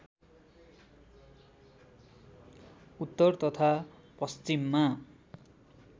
उत्तर तथा पश्चिममा